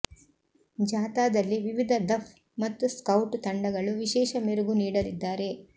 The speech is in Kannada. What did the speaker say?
ಜಾಥಾದಲ್ಲಿ ವಿವಿಧ ದಫ್ ಮತ್ತು ಸ್ಕೌಟ್ ತಂಡಗಳು ವಿಶೇಷ ಮೆರುಗು ನೀಡಲಿದ್ದಾರೆ